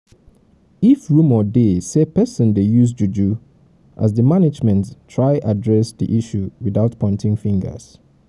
if rumor dey sey person dey do juju as di management management try address di issue without pointing fingers